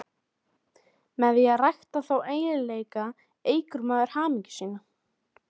Með því að rækta þá eiginleika eykur maður hamingju sína.